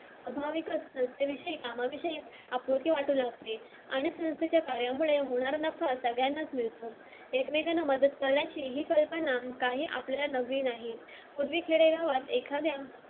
आभाविकच संस्थेविषयी कामाविषयी आपुलकी वाटू लागते आणि सगळ्यांनाच मिळतो एकमेकांना मदत करायची ही कल्पना काही आपल्या नवीन नाही